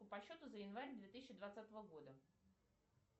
по счету за январь две тысячи двадцатого года